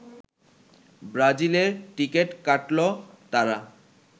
ব্রাজিলের টিকিট কাটল তারা